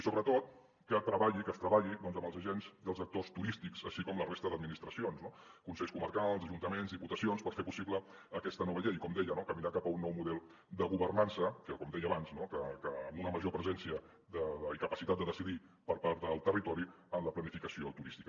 i sobretot que es treballi amb els agents i els actors turístics així com amb la resta d’administracions no consells comarcals ajuntaments diputacions per fer possible aquesta nova llei i com deia caminar cap a un nou model de governança com deia abans amb una major presència i capacitat de decidir per part del territori en la planificació turística